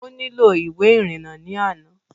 Ó nílò ìwé ìrìnnà ní àná